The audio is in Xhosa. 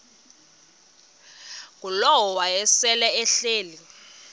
ngulowo wayesel ehleli